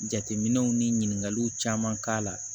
Jateminɛw ni ɲininkaliw caman k'a la